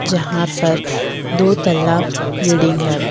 यहां पर दो तल्ला बिल्डिंग है।